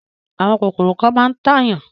Àwọn kòkòrò kan máa ń tàyàn.